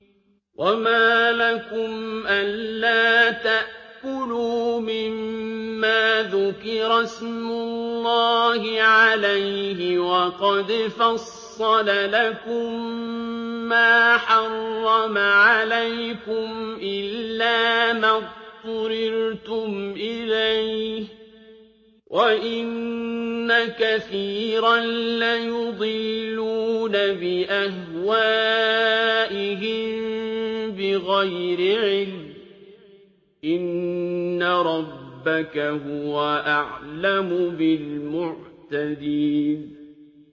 وَمَا لَكُمْ أَلَّا تَأْكُلُوا مِمَّا ذُكِرَ اسْمُ اللَّهِ عَلَيْهِ وَقَدْ فَصَّلَ لَكُم مَّا حَرَّمَ عَلَيْكُمْ إِلَّا مَا اضْطُرِرْتُمْ إِلَيْهِ ۗ وَإِنَّ كَثِيرًا لَّيُضِلُّونَ بِأَهْوَائِهِم بِغَيْرِ عِلْمٍ ۗ إِنَّ رَبَّكَ هُوَ أَعْلَمُ بِالْمُعْتَدِينَ